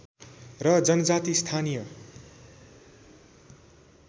र जनजाति स्थानीय